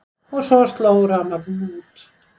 Og svo sló rafmagninu út.